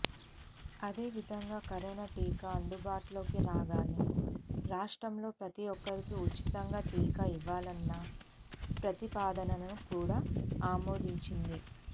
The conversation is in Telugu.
అదేవిధంగా కరోనా టీకా అందుబాటులోకి రాగానే రాష్ట్రంలో ప్రతి ఒక్కరికీ ఉచితంగా టీకా ఇవ్వాలన్న ప్రతిపాదనను కూడా ఆమోదించింది